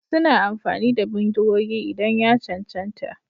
Suna amfani da bindigogi idan ya cancanta.